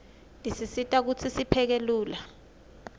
tisisita kutsi sipheke lula